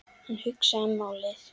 Hann hugsaði málið.